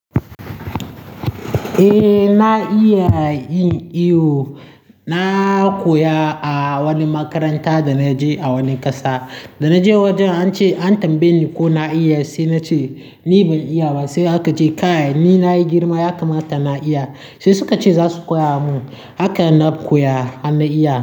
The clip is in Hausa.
Eh na iya yin iwo. Na koya a wani makaranta da na je a wani ƙasa. Da na je wajen an ce an tambaye ni ko na iya sai na ce ni ban iya ba. Sai aka ce kai ni na yi girma ya kamata na iya. Sai suka ce za su koya mun. Haka na koya har na iya.